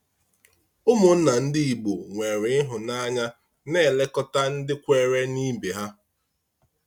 Ụmụnna ndị Igbo nwere ịhụnanya na-elekọta ndị kweere n'ibe ha.